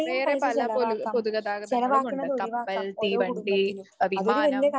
വേറെ പല പൊലു പൊതുഗതാഗതങ്ങളുമുണ്ട് കപ്പൽ, തീവണ്ടി, വിമാനം